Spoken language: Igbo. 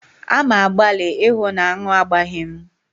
A ma-agbali ịhụ na aṅụ agbaghị mụ.